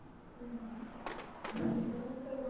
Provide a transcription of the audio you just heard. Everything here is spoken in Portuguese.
Uhum. Então, o seu ma